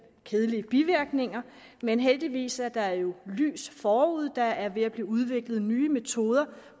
kedelige bivirkninger men heldigvis er der jo lys forude der er ved at blive udviklet nye metoder